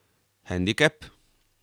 Hendikep?